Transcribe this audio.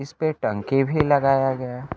इस पे टंकी भी लगाया गया--